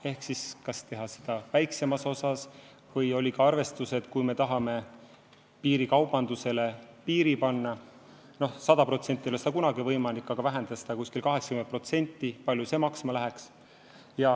Ehk siis oli küsimus, kas teha seda väiksemas osas ja kui me tahame piirikaubandusele piiri panna – 100% ei ole seda kunagi võimalik teha, aga vähendada seda umbes 80% –, kui palju see maksma läheks.